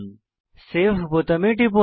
save বোতামে টিপুন